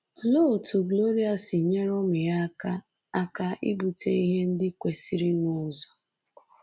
Olee otú Gloria si nyere ụmụ ya aka aka ibute ihe ndị kwesịrịnụ ụzọ?